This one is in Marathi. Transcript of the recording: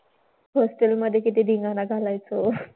Hostel मधे किती धिंगाणा घालायचो.